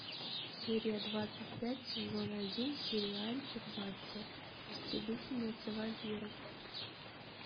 серия двадцать пять сезон один сериальчик баффи истребительница вампиров